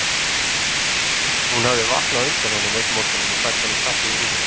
Hún hafði vaknað á undan honum einn morguninn og fært honum kaffi í rúmið.